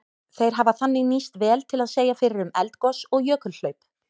Þeir hafa þannig nýst vel til að segja fyrir um eldgos og jökulhlaup.